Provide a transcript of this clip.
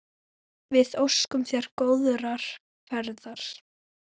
Við óskum þér góðrar ferðar.